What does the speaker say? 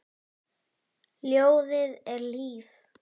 Ljóðið er líf.